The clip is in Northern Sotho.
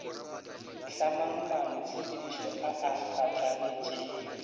hlamang maanotshepedišo a a phatlaletšego